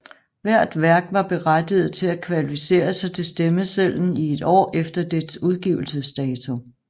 Hvert værk var berettiget til at kvalificere sig til stemmesedlen i et år efter dets udgivelsesdato